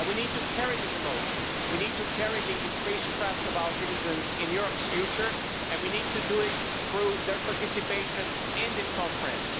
And we need to carry this emotion we need to carry the increased trust of our citizens in Europe's future, and we need to do it through their participation in this conference.